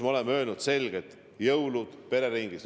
Me oleme öelnud selgelt: jõulud pereringis.